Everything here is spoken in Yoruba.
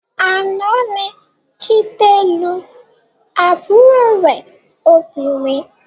Àná ni Jídé lu àbúrò rẹ̀ obìnrin